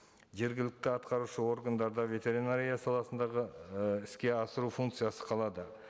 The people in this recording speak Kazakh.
жергілікті атқарушы органдарда ветеринария саласындағы і іске асыру функциясы қалады